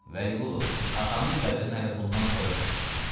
Vəliqulu, atanın qədrini hələ bundan sonra bilərsən.